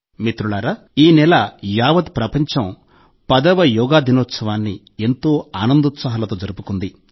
మిత్రులారా ఈ నెల యావత్ ప్రపంచం 10వ యోగా దినోత్సవాన్ని ఎంతో ఆనందోత్సాహాలతో జరుపుకుంది